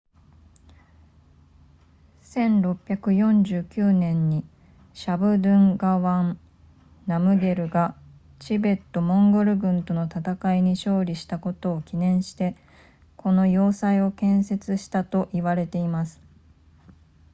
1649年にシャブドゥンガワンナムゲルがチベットモンゴル軍との戦いに勝利したことを記念してこの要塞を建設したと言われています